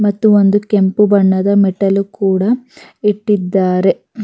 ಮತ್ತು ಒಂದು ಕೆಂಪು ಬಣ್ಣದ ಮೆಟ್ಟಲು ಕೂಡ ಇಟ್ಟಿದ್ದಾರೆ.